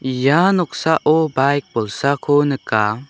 ia noksao baik bolsako nika.